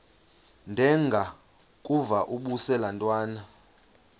ndengakuvaubuse laa ntwana